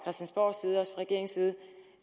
regeringens side